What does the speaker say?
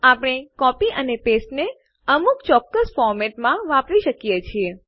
આપણે કોપી અને પાસ્તે ને અમુક ચોક્કસ ફોરમેટ બંધારણમાં વાપરી શકીએ છીએ